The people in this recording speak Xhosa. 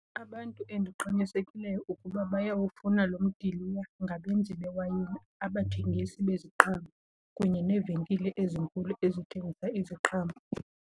Abantu endiqinisekileyo ukuba bayawufuna loo mdiliya ngabenzi bewayini, abathengisi beziqhamo kunye neevenkile ezinkulu ezithengisa iziqhamo.